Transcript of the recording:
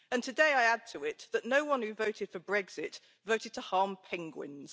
And today I add to it that no one who voted for Brexit, voted to harm penguins.